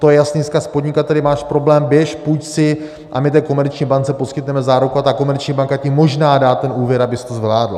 To je jasný vzkaz: podnikateli, máš problém, běž, půjč si a my té komerční bance poskytneme záruku a ta komerční banka ti možná dá ten úvěr, abys to zvládl.